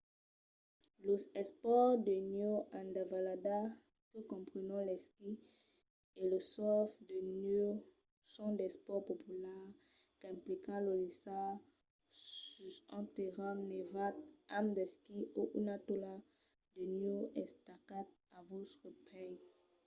los espòrts de nèu en davalada que comprenon l'esquí e lo surf de nèu son d'espòrts populars qu'implican de lisar sus un terrenh nevat amb d'esquís o una taula de nèu estacats a vòstres pès